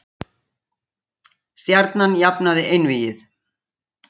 Stjarnan jafnaði einvígið